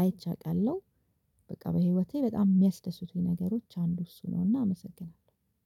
አይቼ አዉቃለሁ በቃ በህይወቴ በጣም የሚያስደስቱኝ ነገሮች አንዱ እሱ ነውና አመሰግናለሁ።